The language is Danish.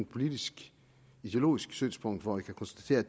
politisk ideologisk synspunkt hvor vi kan konstatere at